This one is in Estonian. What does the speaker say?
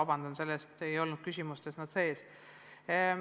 Praegu neid ei olnud küsimuste hulgas.